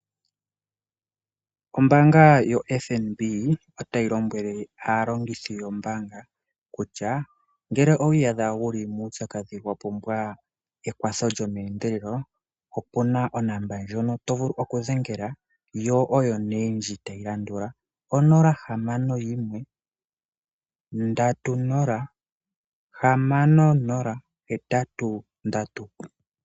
Ombaanga yofNB otayi lombwele aalongithi yawo kutya ngeke owiiyadha wuli muupyakadhi wapumbwa ekwatho lyomeendelelo opuna onomola ndjoka to vulu okudhengela ndji tayi landula 061 306080.